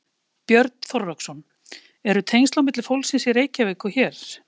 Björn Þorláksson: Eru tengsl á milli fólksins í Reykjavík og hér?